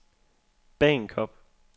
Bagenkop